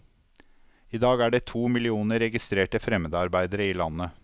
I dag er det to millioner registrerte fremmedarbeidere i landet.